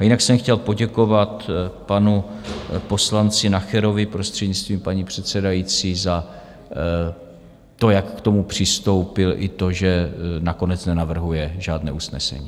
A jinak jsem chtěl poděkovat panu poslanci Nacherovi, prostřednictvím paní předsedající, za to, jak k tomu přistoupil, i to, že nakonec nenavrhuje žádné usnesení.